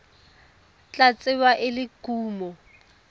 tla tsewa e le kumo